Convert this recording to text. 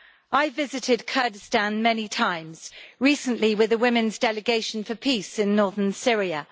I visited Kurdistan many times, recently with the Women's Delegation for Peace in northern Syria.